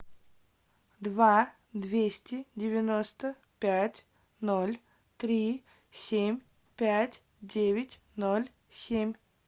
два двести девяносто пять ноль три семь пять девять ноль семь